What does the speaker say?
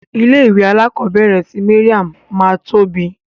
Ilé ìwé alakobere ti Mariam ma tóbi.